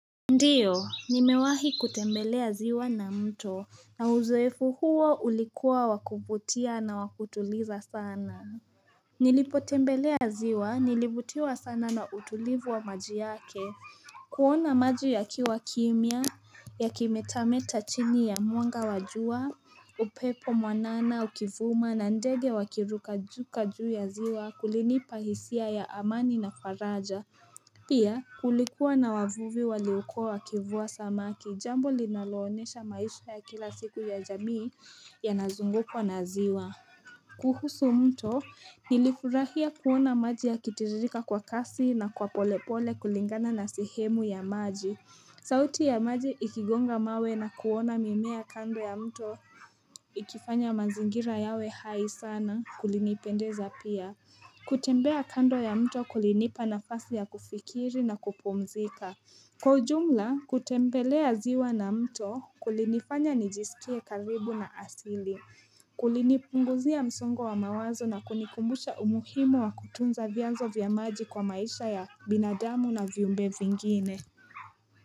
Ndiyo, nimewahi kutembelea ziwa na mto, na uzoefu huo ulikuwa wakuvutia na wakutuliza sana. Nilipotembelea ziwa, nilivutiwa sana na utulivu wa maji yake. Kuona maji yakiwa kimia, ya kimetameta chini ya mwanga wa jua, upepo mwanana ukivuma na ndege wakiruka juu juu ya ziwa kulinipa hisia ya amani na faraja. Pia kulikuwa na wavuvi waliokua wakivua samaki jambo linaloonyesha maisha ya kila siku ya jamii yanazungukwa na ziwa kuhusu mto nilifurahia kuona maji yakitirika kwa kasi na kwa pole pole kulingana na sehemu ya maji sauti ya maji ikigonga mawe na kuona mimea kando ya mto ikifanya mazingira yawe hai sana kulinipendeza pia kutembea kando ya mto kulinipa nafasi ya kufikiri na kupumzika Kwa ujumla, kutembelea ziwa na mto kulinifanya nijisikie karibu na asili Kulinipunguzia msungo wa mawazo na kunikumbusha umuhimu wa kutunza vyazo vya maji kwa maisha ya binadamu na viumbe vingine.